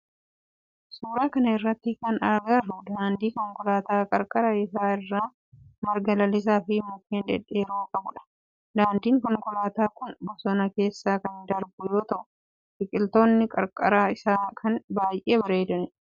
Suuraa kana irratti kan agarru daandii konkolaataa qarqara isaa irraa marga lalisaa fi mukkeen dhedheeroo qabudha. Daandin konkolaataa kun bosona keessa kan darbu yoo ta'u biqiltoonni qarqara isaa jiran baayyee bareeduu.